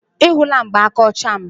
ị hụla mgbaaka ọcha m